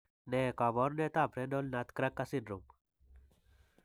Ne kaabarunetap renal nutcracker syndrome?